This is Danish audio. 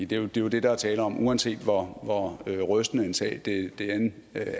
det er jo det der er tale om uanset hvor rystende en sag det end